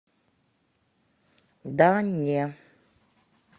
да не